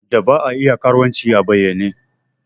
Da ba a iya karuwanci a bayyane.